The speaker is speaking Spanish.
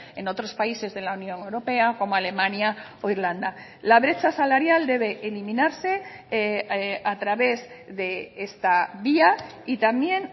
en otros países de la unión europea como alemania o irlanda la brecha salarial debe eliminarse a través de esta vía y también